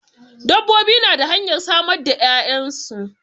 Dabbobi na da hanyar samar da 'ya'yansu.